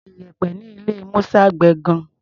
Iyẹ̀pẹ̀ ní ilé Musa gbẹ gan-an.